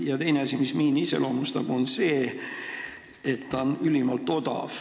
Ja teine asi, mis miini iseloomustab, on see, et ta on ülimalt odav.